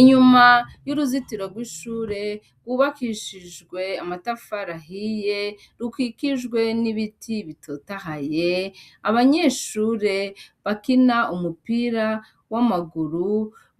Inyuma y'uruzitoro ry'ishure, rwubakishijwe amatafari ahiye, rukikijwe n'ibiti bitotahaye, abanyeshure bakina umupira w'amaguru.